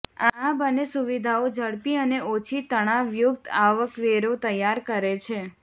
આ બંને સુવિધાઓ ઝડપી અને ઓછી તણાવયુક્ત આવકવેરો તૈયાર કરે છે